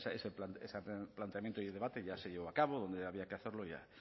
ese planteamiento y debate ya se llevó a cabo donde había que hacerlo